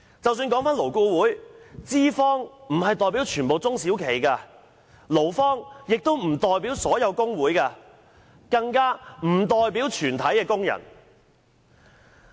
在勞顧會的架構下，資方並不代表全部中小企，勞方亦不代表所有工會，更不代表全體工人。